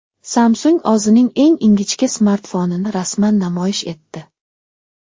Samsung o‘zining eng ingichka smartfonini rasman namoyish etdi.